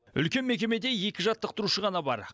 үлкен мекемеде екі жаттықтырушы ғана бар